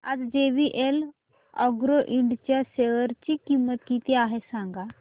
आज JVL agro Ind च्या share ची किंमत किती आहे सांगा